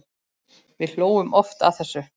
Við hlógum oft að þessu.